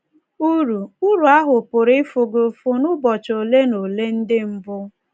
Uru Uru ahụ́ pụrụ ịfụ gị ụfụ n’ụbọchị ole na ole ndị mbụ.